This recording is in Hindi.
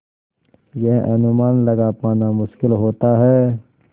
यह अनुमान लगा पाना मुश्किल होता है